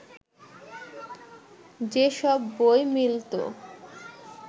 যেসব বই মিলত